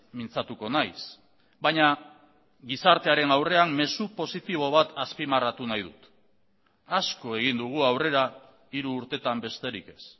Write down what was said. mintzatuko naiz baina gizartearen aurrean mezu positibo bat azpimarratu nahi dut asko egin dugu aurrera hiru urtetan besterik ez